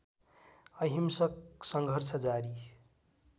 अहिंसक सङ्घर्ष जारी